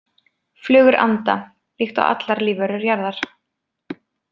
Flugur anda líkt og allar lífverur jarðar.